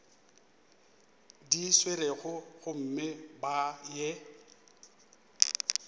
di swerego gomme ba ye